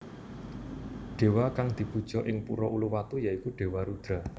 Dewa kang dipuja ing Pura Uluwatu ya iku Dewa Rudra